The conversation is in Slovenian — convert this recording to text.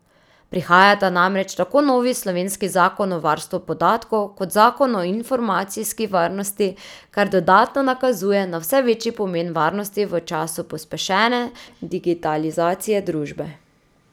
Prihajata namreč tako novi slovenski zakon o varstvu podatkov kot zakon o informacijski varnosti, kar dodatno nakazuje na vse večji pomen varnosti v času pospešene digitalizacije družbe.